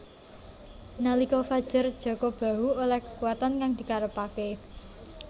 Nalika fajar Jaka Bahu oleh kekuatan kang dikarepake